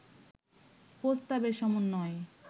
প্রস্তাবের সমন্বয়ে